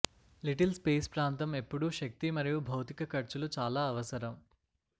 little space ప్రాంతం ఎప్పుడూ శక్తి మరియు భౌతిక ఖర్చులు చాలా అవసరం